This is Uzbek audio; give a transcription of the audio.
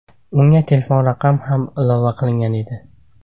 Unga telefon raqami ham ilova qilingan edi.